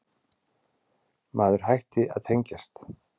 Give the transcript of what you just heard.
Maður hætti að tengjast.